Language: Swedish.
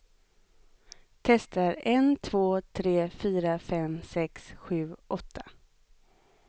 Testar en två tre fyra fem sex sju åtta.